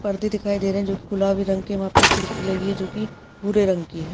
पर्दे दिखाई दे रहे हैं जोकि गुलाबी रंग के वहां पे खिड़की लगी है जोकि भूरे रंग की है।